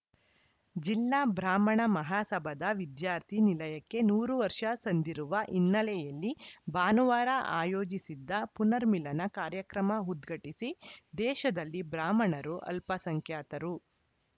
ಜಿಲ್ಲಾ ಬ್ರಾಹ್ಮಣ ಮಹಾಸಭಾದ ವಿದ್ಯಾರ್ಥಿ ನಿಲಯಕ್ಕೆ ನೂರು ವರ್ಷ ಸಂದಿರುವ ಹಿನ್ನೆಲೆಯಲ್ಲಿ ಭಾನುವಾರ ಆಯೋಜಿಸಿದ್ದ ಪುನರ್ಮಿಲನ ಕಾರ್ಯಕ್ರಮ ಉದ್ಘಾಟಿಸಿ ದೇಶದಲ್ಲಿ ಬ್ರಾಹ್ಮಣರು ಅಲ್ಪಸಂಖ್ಯಾತರು